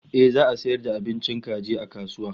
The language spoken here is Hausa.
Ehh za'a sayar da abincin kaji a kasuwa